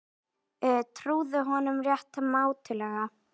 Trúðu honum rétt mátulega.